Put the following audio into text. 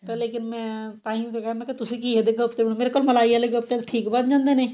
ਤਾਂ ਲੇਕਿਨ ਮੈਂ ਤਾਂਹੀਂ ਸੀਗਾ ਮੈਂ ਕਿਹਾ ਵੀ ਤੁਸੀਂ ਘੀਏ ਦੇ ਕੋਫਤੇ ਨੀ ਮਲਾਈ ਵਾਲੇ ਕੋਫਤੇ ਠੀਕ ਬਣ ਜਾਂਦੇ ਨੇ